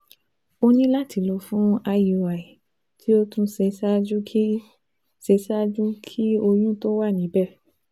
O ní láti lọ fún IUI tí o tún ṣe ṣáájú ki ṣe ṣáájú kí oyún tó wà níbẹ̀